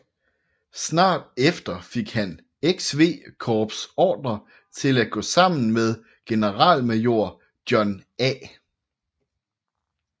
Snart efter fik hans XV Corps ordre til at gå sammen med generalmajor John A